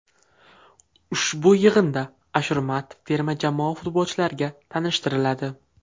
Ushbu yig‘inda Ashurmatov terma jamoa futbolchilariga tanishtiriladi.